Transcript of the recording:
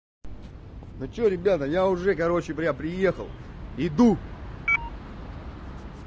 ну что ребята я уже короче бля приехал иду